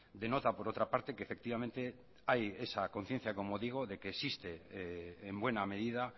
denota por otra parte que efectivamente hay esa conciencia como digo de que existe en buena medida